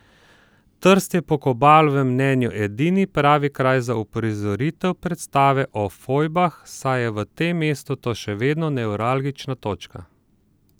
Trst je po Kobalovem mnenju edini pravi kraj za uprizoritev predstave o fojbah, saj je v tem mestu to še vedno nevralgična točka.